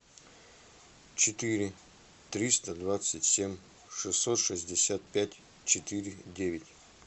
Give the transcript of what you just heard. четыре триста двадцать семь шестьсот шестьдесят пять четыре девять